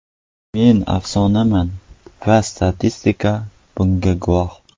Men afsonaman va statistika bunga guvoh.